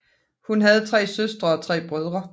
Hun havde tre søstre og tre brødre